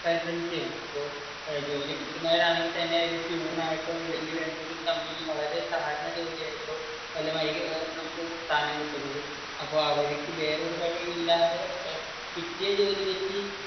പരിശ്രമിക്കുകയാണ് അപ്പൊ ജോലി കിട്ടുന്നവരാണെങ്കിൽ തന്നെ ഒരു പ്യൂൺ ആയിട്ടോ അല്ലെങ്കിൽ എന്തെങ്കിലും ക്യാമ്പനയിൽ വളരെ താഴ്ന്ന ജോലി വല്ലമായിരിക്കും നമുക്ക് സ്ഥാനം കിട്ടുന്നത് അപ്പോ അവർക്ക് വേറെ ഒരു വഴിയും ഇല്ലാതെ കിട്ടിയ ജോലി വെച്ച്